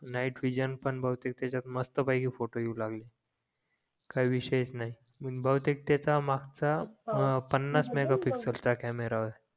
night vision भावतेक त्याच्यात मस्त पैकी फोटो येऊ लागले काय विषयच नाही मिनी भावतेक त्याचा मघाचा पानास मेघापिक्सेल चा कॅमेरा होता